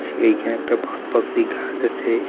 যে এইখানে একটা বট পাকুড়ি গাছ আছে।